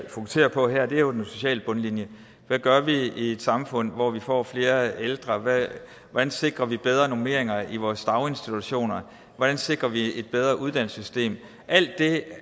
fokuserer på her er jo den sociale bundlinje hvad gør vi i et samfund hvor vi får flere ældre hvordan sikrer vi bedre normeringer i vores daginstitutioner hvordan sikrer vi et bedre uddannelsessystem alt det